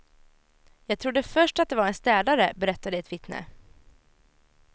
Jag trodde först att det var en städare, berättade ett vittne.